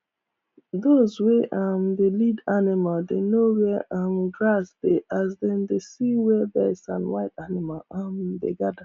dos wey um dey lead animal dey know where um grass dey as dem dey see where birds and wild animals um dem gather